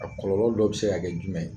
A kɔlɔlɔ dɔ bɛ se ka kɛ jumɛn ye?